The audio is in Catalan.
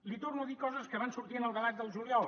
li torno a dir coses que van sortir en el debat del juliol